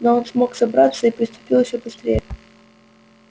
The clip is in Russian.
но он смог собраться и припустил ещё быстрее